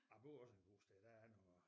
Jeg går også en god sted der er noget